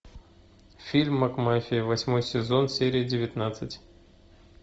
фильм макмафия восьмой сезон серия девятнадцать